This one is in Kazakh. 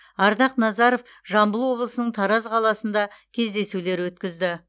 ардақ назаров жамбыл облысының тараз қаласында кездесулер өткізді